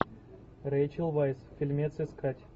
рэйчел вайс фильмец искать